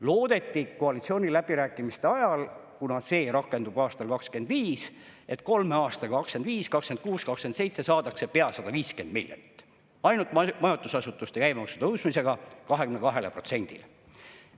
Loodeti, koalitsiooniläbirääkimiste ajal, et kuna see rakendub aastal 2025, siis kolme aastaga, 2025–2027 saadakse pea 150 miljonit ainult majutusasutuste käibemaksu tõstmisega 22%-le.